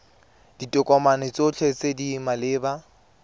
ditokomane tsotlhe tse di maleba